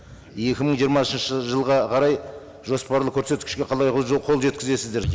екі мың жиырмасыншы жылға қарай жоспарлы көрсеткішке қалай қол жеткізесіздер